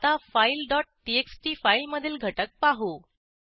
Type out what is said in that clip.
आता file dot TXT फाईलमधील घटक पाहू